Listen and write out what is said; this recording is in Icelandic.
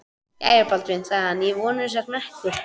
Jæja, Baldvin, sagði hann,-ég vona að þú sért mettur.